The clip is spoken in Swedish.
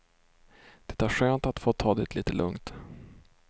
Det är skönt att få ta det lite lugnt.